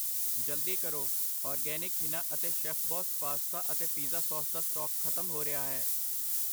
ਜਲਦੀ ਕਰੋ, ਔਰਗੈਨਿਕ ਹਿਨਾ ਅਤੇ ਸ਼ੈੱਫਬੌਸ ਪਾਸਤਾ ਅਤੇ ਪੀਜ਼ਾ ਸੌਸ ਦਾ ਸਟਾਕ ਖਤਮ ਹੋ ਰਿਹਾ ਹੈ I